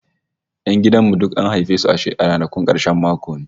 Yan gidan mu duk an haife su a ranakun karshen mako ne!